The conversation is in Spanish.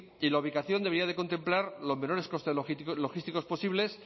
y la ubicación debería de contemplar los menores costes logísticos posibles